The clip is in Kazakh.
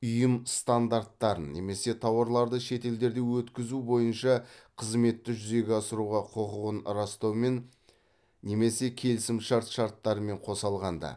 ұйым стандарттарын немесе тауарларды шетелдерде өткізу бойынша қызметті жүзеге асыруға құқығын растаумен немесе келісімшарт шарттарымен қоса алғанда